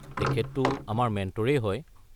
তেখেতটো আমাৰ মেণ্টৰেই হয়।